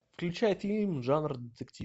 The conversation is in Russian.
включай фильм жанр детектив